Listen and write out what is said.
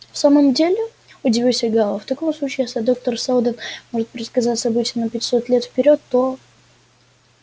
в самом деле удивился гаал в таком случае если доктор сэлдон может предсказать события на пятьсот лет вперёд то